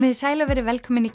sæl og verið velkomin í